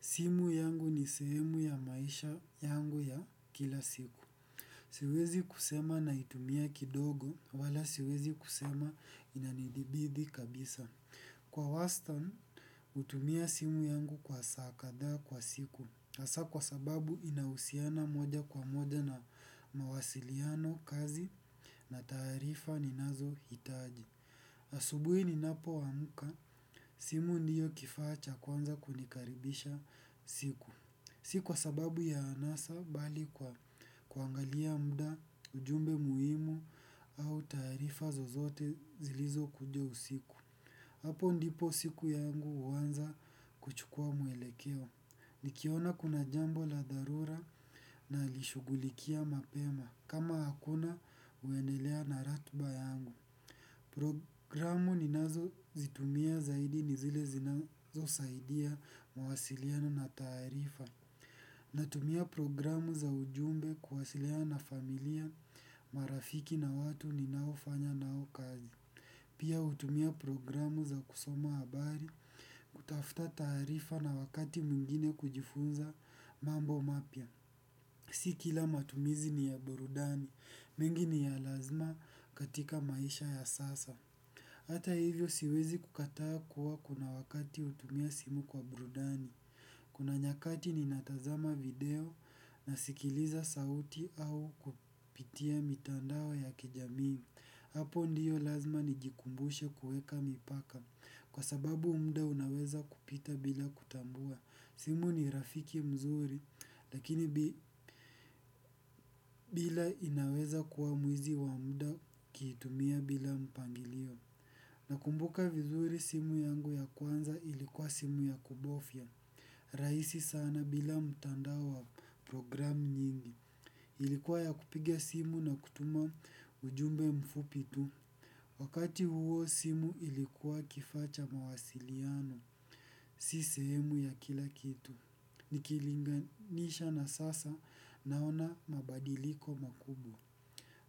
Simu yangu ni sehemu ya maisha yangu ya kila siku. Siwezi kusema na itumia kidogo wala siwezi kusema inanidhibidi kabisa. Kwa wastan, utumia simu yangu kwa saa kadhaa kwa siku. Sio kwa sababu inahusiana moja kwa moja na mawasiliano kazi na taarifa ninazo hitaji. Asubui ni napoamuka, simu ndiyo kifaa cha kwanza kunikaribisha siku. Si kwa sababu ya anasa bali kwa kuangalia mda, ujumbe muhimu au tarifa zozote zilizo kuja usiku. Hapo ndipo siku yangu huanza kuchukua mwelekeo nikiona kuna jambo la dharura nalishugulikia mapema kama hakuna naendelea na ratba yangu. Programu ninazo zitumia zaidi ni zile zinazo saidia mawasiliano na taarifa. Natumia programu za ujumbe kuwasiliana na familia, marafiki na watu ninaofanya nao kazi. Pia hutumia programu za kusoma abari kutafuta taarifa na wakati mwingine kujifunza mambo mapya. Si kila matumizi ni ya burudani, mingi ni ya lazima katika maisha ya sasa hata hivyo siwezi kukataa kuna wakati hutumia simu kwa burudani kuna nyakati ninatazama video nasikiliza sauti au kupitia mitandao ya kijamii. Programu ni nazo zitumia zaidi ni zile zinazo saidia mwasiliano na tarifa. Simu ni rafiki mzuri lakini bila inaweza kuwa mwizi wa mda ukiitumia bila mpangilio. Nakumbuka vizuri simu yangu ya kwanza ilikuwa simu ya kubofya. Raisi sana bila mtandao wa program nyingi. Ilikuwa ya kupiga simu na kutuma ujumbe mfupi tu. Wakati huo simu ilikuwa kifaa cha mawasiliano. Si sehemu ya kila kitu. Nikilinganisha na sasa naona mabadiliko makubwa.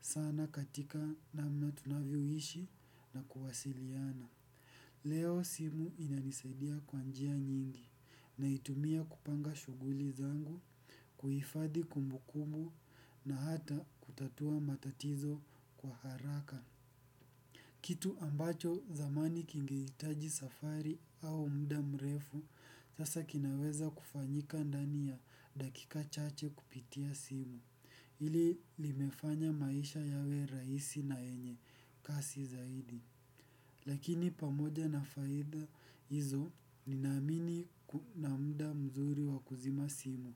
Sana katika namna tunavyoishi na kuwasiliana. Leo simu inanisaidia kwa njia nyingi. Naitumia kupanga shuguli zangu, kuhifadhi kumbu kumbu na hata kutatua matatizo kwa haraka. Kitu ambacho zamani kingeitaji safari au mda mrefu, sasa kinaweza kufanyika ndani ya dakika chache kupitia simu. Ili limefanya maisha yawe raisi na yenye, kasi zaidi. Lakini pamoja na faida hizo, ninamini na mda mzuri wakuzima simu.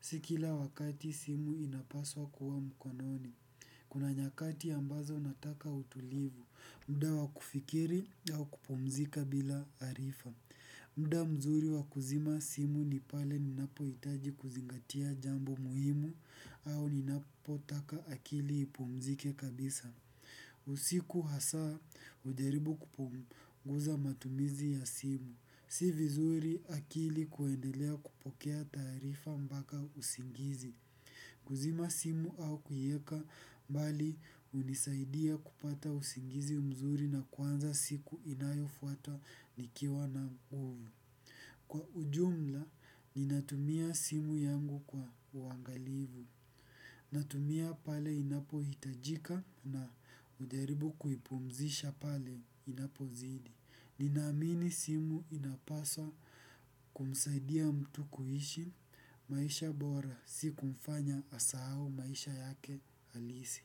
Si kila wakati simu inapaswa kuwa mkononi. Kuna nyakati ambazo nataka utulivu mda wa kufikiri au kupumzika bila arifa. Mda mzuri wa kuzima simu ni pale ninapo itaji kuzingatia jambo muhimu au ninapo taka akili ipumzike kabisa. Usiku hasa ujaribu kupunguza matumizi ya simu. Si vizuri akili kuendelea kupokea taarifa mbaka usingizi. Kuzima simu au kuieka mbali unisaidia kupata usingizi mzuri na kuanza siku inayo fuata nikiwa na nguvu. Kwa ujumla, ninatumia simu yangu kwa uangalivu. Natumia pale inapo hitajika na ujaribu kuipumzisha pale inapo zidi. Ninamini simu inapaswa kumsaidia mtu kuishi. Maisha bora si kumfanya asahau maisha yake alisi.